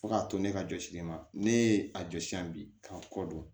Fo k'a to ne ka jɔsili ma ne ye a jɔ sisan bi k'a kɔ don